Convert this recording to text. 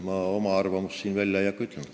Ma oma arvamust ei hakka välja ütlema.